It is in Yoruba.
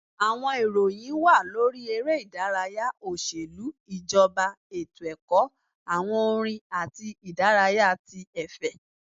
Àwọn ìròyìn wà lórí eré ìdárayá, oṣelu, ijọba, etó-ẹkọ, awọn orin atí idaraya tí efè.